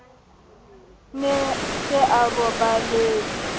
ne a se a roballetse